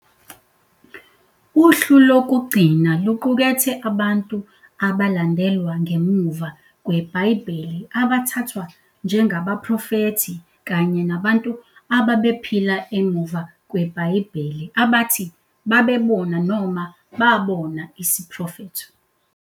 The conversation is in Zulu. Uhlu lokugcina luqukethe abantu abalandelwa ngemuva kweBhayibheli abathathwa njengabaprofethi kanye nabantu ababephila emuva kweBhayibheli abathi babebona noma babona isiprofetho.